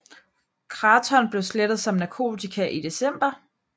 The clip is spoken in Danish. Kraton blev slettet som narkotika i december